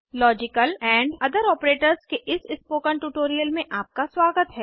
logical AMP other operators के इस spoken tutorial में आपका स्वागत है